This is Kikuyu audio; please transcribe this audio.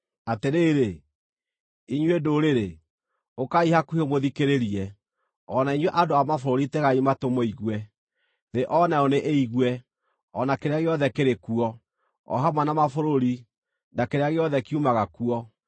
Atĩrĩrĩ, inyuĩ ndũrĩrĩ, ũkai hakuhĩ mũthikĩrĩrie; o na inyuĩ andũ a mabũrũri tegai matũ mũigue! Thĩ o nayo nĩĩigue, o na kĩrĩa gĩothe kĩrĩ kuo, o hamwe na mabũrũri, na kĩrĩa gĩothe kiumaga kuo!